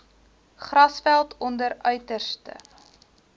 grasveld onder uiterste